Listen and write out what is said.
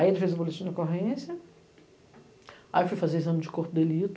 Aí ele fez o boletim de ocorrência, aí eu fui fazer o exame de corpo de delito.